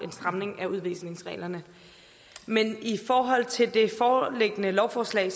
stramning af udvisningsreglerne men i forhold til det foreliggende lovforslag